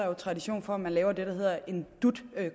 er der tradition for at man laver det der hedder en dut